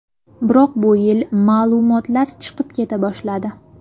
Biroq bu yil ma’lumotlar chiqib keta boshladi.